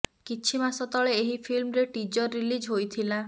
କିଛି ମାସ ତଳେ ଏହି ଫିଲ୍ମରେ ଟିଜର ରିଲିଜ୍ ହୋଇଥିଲା